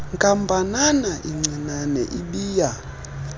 nkampanana incinane ibiya